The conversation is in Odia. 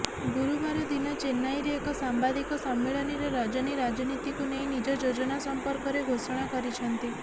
ଗୁରୁବାର ଦିନ ଚେନ୍ନାଇରେ ଏକ ସାମ୍ବାଦିକ ସମ୍ମିଳନୀରେ ରଜନୀ ରାଜନୀତିକୁ ନେଇ ନିଜ ଯୋଜନା ସଂପର୍କରେ ଘୋଷଣା କରିଛନ୍ତି